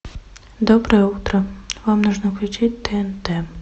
доброе утро вам нужно включить тнт